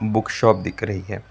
Book shop दिख रही है।